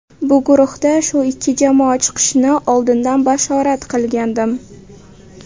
Bu guruhda shu ikki jamoa chiqishini oldindan bashorat qilgandim.